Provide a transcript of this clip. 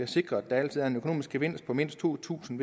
sikre at der altid er en økonomisk gevinst på mindst to tusind